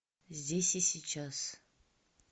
здесь и сейчас